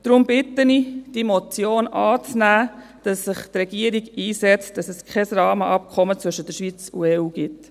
Deshalb bitte ich darum, diese Motion anzunehmen, damit sich die Regierung einsetzt, damit es kein Rahmenabkommen zwischen der Schweiz und der EU gibt.